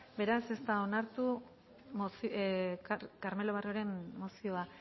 beraz ez da onartu carmelo barrioren mozioa